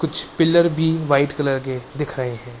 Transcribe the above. कुछ पिलर भी white colour के दिख रहे हैं।